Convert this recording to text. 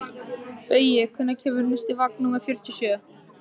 Baui, hvenær kemur vagn númer fjörutíu og sjö?